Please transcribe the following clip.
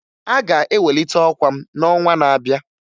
Aga ewelite ọkwa m n'ọnwa na-abịa